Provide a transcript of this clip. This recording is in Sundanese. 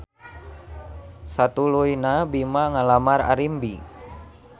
Satuluyna Bima ngalamar Arimbi.